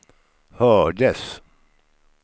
hördes